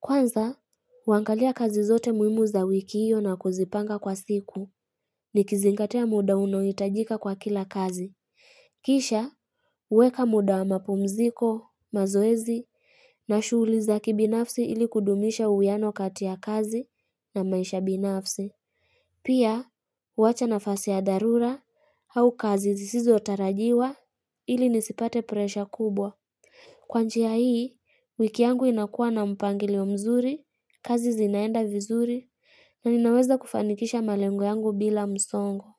Kwanza, huangalia kazi zote muhimu za wiki hiyo na kuzipanga kwa siku. Nikizingatia muda unaohitajika kwa kila kazi. Kisha, weka muda wa mapumziko, mazoezi, na shughuli za kibinafsi ili kudumisha uwiano kati ya kazi na maisha binafsi. Pia, huacha nafasi ya dharura au kazi zisotarajiwa ili nisipate presha kubwa. Kwa njia hii, wiki yangu inakua na mpangilio mzuri, kazi zinaenda vizuri, na ninaweza kufanikisha malengo yangu bila msongo.